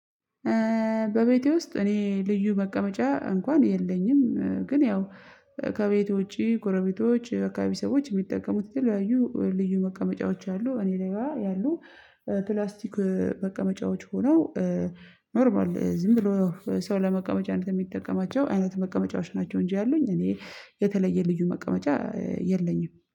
በቤቴ ውስጥ እኔ ልዩ መቀመጫ እንኳን የለኝም። ግን ያው ከቤቴ ውጪ ጎረቤቶች የአካባቢ ሰዎች የሚጠቀሙት የተለያዩ ልዩ መቀመጫዎች አሉ። እኔጋ ያሉ ፕላስቲክ መቀመጫዎች ሆነው ኖርማል ዝም ብሎ ሰው ለመቀመጫነት የሚጠቀማቸው አይነት መቀመጫዎች ናቸው። እንጂ ያሉኝ እኔ የተለየ ልዩ መቀመጫ የለኝም